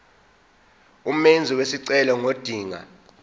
umenzi wesicelo ngodinga